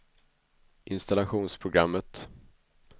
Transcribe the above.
installationsprogrammet